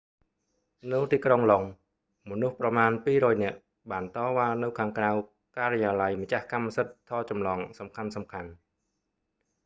នៅទីក្រុងឡុងដ៏ មនុស្សប្រមាណ 200 នាក់ បានតវ៉ានៅខាងក្រៅការិយាល័យម្ចាស់កម្មសិទ្ធិថតចម្លងសំខាន់ៗ